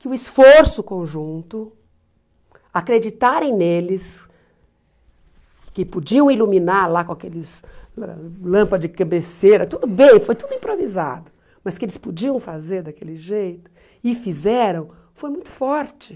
que o esforço conjunto, acreditarem neles, que podiam iluminar lá com aqueles ãh lâmpadas de cabeceira, tudo bem, foi tudo improvisado, mas que eles podiam fazer daquele jeito, e fizeram, foi muito forte.